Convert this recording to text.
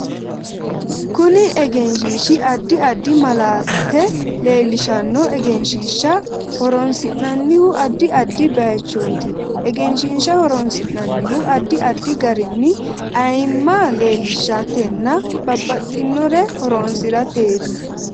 Kuni egesnhiishi addi addi malaate leelishanno egenshiisha horoonsinanihu addi addi bayiichooti egenshiisha horoonsinanihu addi addi garinni ayiimma leelishatena babbaxinore horoosirateeti